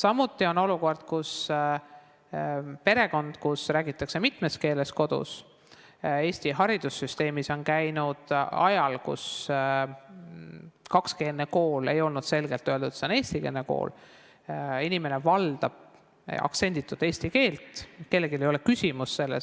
Samuti võib näiteks tuua perekonna, kus räägitakse mitmes keeles ja lapsed käisid Eesti haridussüsteemis ajal, kui ei olnud selgelt öeldud, et kakskeelne kool on eestikeelne kool, inimene valdab aktsenditut eesti keelt, seda küsimust kellelgi ei ole,